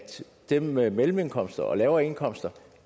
dem med mellemindkomster og lavere indkomster